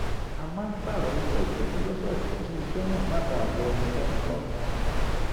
a máa ń pààrọ̀ iṣẹ́ ìtọ́jú lọ́sọ̀ọ̀sẹ̀ kí iṣẹ́ náà má baà wọ ẹnìkan lọ́rùn